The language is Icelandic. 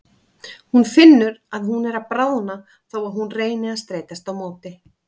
Hún finnur að hún er að bráðna þó að hún reyni að streitast á móti.